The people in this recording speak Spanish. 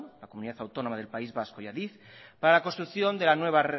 la comunidad autónoma del país vasco y adif para la construcción de la nueva